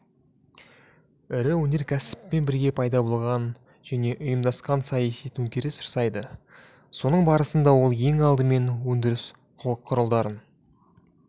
ірі өнеркәсіппен бірге пайда болған және ұйымдасқан саяси төңкеріс жасайды соның барысында ол ең алдымен өндіріс құралдарын